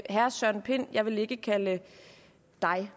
herre søren pind jeg vil ikke kalde dig